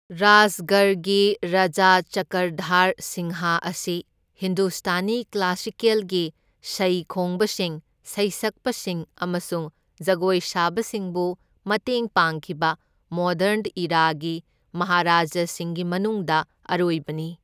ꯔꯥꯏꯁꯒꯔꯒꯤ ꯔꯥꯖꯥ ꯆꯀ꯭ꯔꯙꯥꯔ ꯁꯤꯡꯍ ꯑꯁꯤ ꯍꯤꯟꯗꯨꯁꯇꯥꯅꯤ ꯀ꯭ꯂꯥꯁꯤꯀꯦꯜꯒꯤ ꯁꯩꯈꯣꯡꯕꯁꯤꯡ, ꯁꯩꯁꯛꯄꯁꯤꯡ ꯑꯃꯁꯨꯡ ꯖꯒꯣꯏ ꯁꯥꯕꯁꯤꯡꯕꯨ ꯃꯇꯦꯡ ꯄꯥꯡꯈꯤꯕ ꯃꯣꯗ꯭ꯔꯟ ꯏꯔꯥꯒꯤ ꯃꯍꯥꯔꯥꯖꯥꯁꯤꯡꯒꯤ ꯃꯅꯨꯡꯗ ꯑꯔꯣꯏꯕꯅꯤ꯫